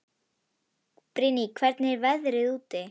Brynný, hvernig er veðrið úti?